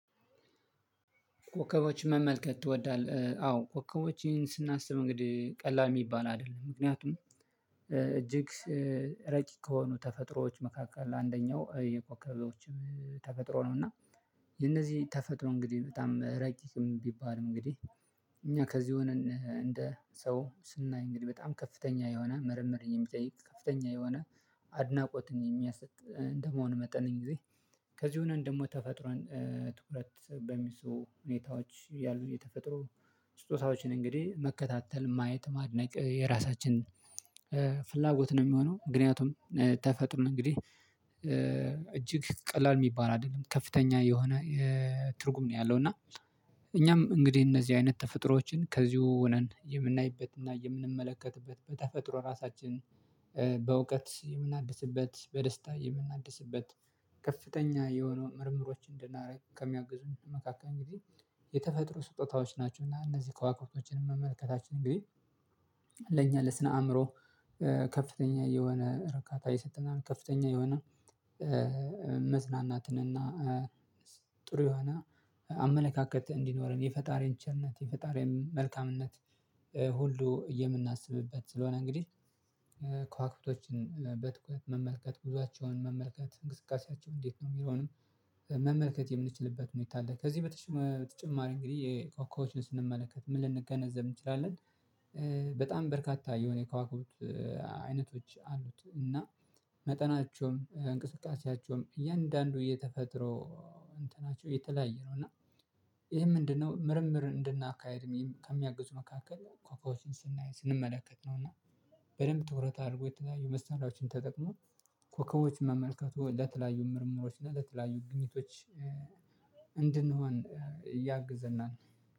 ኮከቦችን መመልከት ትወዳለህ? አዎ ኮከቦችን ስናስብ እንግዲህ ቀላል የሚባል አይደለም ምክንያቱም እጅግ ረቂቅ ከሆኑ ተፈጥሮዎች መካከል አንደኛው የኮከቦች ተፈጥሮ ነው። እና የነዚህ ተፈጥሮ እንግዲህ በጣም ረቂቅም ቢባልም እንግዲህ እኛ ከዚህ የሆነ እንደ ሰው ስናይ እንግዲህ በጣም ከፍተኛ የሆነ ምርምር የሚጠይቅ ከፍተኛ የሆነ አድናቆትን የሚያሰጥ እንደመሆን መጠን ጊዜ ከዚህ የሆነን ደግሞ ተፈጥሮን ትኩረት በሚስቡ ሁኔታዎች ያሉ የተፈጥሮ ስጦታዎችን እንግዲህ መከታተል ማየት ማድነቅ የራሳችን ፍላጎት ነው የሚሆነው። ምክንያቱም ተፈጥሮ ነው እንግዲህ እጅግ ቀላል የሚባል አይደለም ከፍተኛ የሆነ የ ትርጉም ነው ያለው። እና እኛም እንግዲህ እነዚህ አይነት ተፈጥሮዎችን ከዚሁ ሆነን የምናይበትና የምንመለከትበት በተፈጥሮ ራሳችን በእውቀት የምናድስበት በደስታ የምናድስበት ከፍተኛ የሆነውን ምርምሮች እንድናደርግ ከሚያግዙን መካከል እንግዲህ የተፈጥሮ ስጦታዎች ናቸው። እና እነዚህ ከዋክብቶችን መመልከታችን እንግዲህ ለኛ ለስነ አእምሮ ከፍተኛ የሆነ እርካታ የሰጠናል ከፍተኛ የሆነ መዝናናትን እና ጥሩ የሆነ አመለካከት እንዲኖረን የፈጣሪን ቸርነት የፈጣሪን መልካምነት ሁሉ የምናስብበት ስለሆነ። እንግዲህ ከዋክብቶችን በትኩረት መመልከት ጉዟቸውን መመልከት እንቅስቃሴያቸውን እንዴት ነው የሚለዉንም መመልከት የምንችልበት ሁኔታ አለ። ከዚህ በተጨማሪ እንግዲህ የኮከቦችን ስንመለከት ምን ልንገነዘብ እንችላለን? በጣም በርካታ የሆነ የከዋክብት አይነቶች አሉት እና መጠናቸውም እንቅስቃሴያቸውም እያንዳንዱ እየተፈጥሮ እንትናቸው እየተለያየ ነው። እና ይሄ ምንድነው? ምርምር እንድናካሂድ ከሚያግዙ መካከል ኮኮቦችን ስንመለከት ነው። እና በደንብ ትኩረት አድርጎ የተለያዩ መሳርያዎችን ተጠቅሞ ኮከቦችን መመልከቱ ለተለያዩ ምርምሮች እና ለተለያዩ ግኝቶች እንድንሆን እያግዘናል